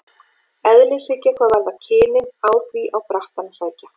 Eðlishyggja hvað varðar kynin á því á brattann að sækja.